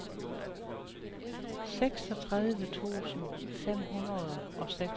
seksogtredive tusind fem hundrede og seksogtres